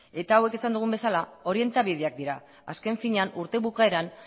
eta hauek esan dugun bezala orientabideak dira azken finean urte bukaeran